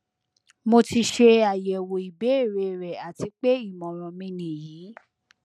mo ti ṣe ayẹwo ibeere rẹ ati pe imọran mi niyi